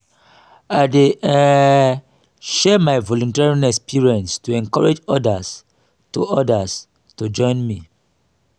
i dey um share my volunteering experiences to encourage odas to odas to join me.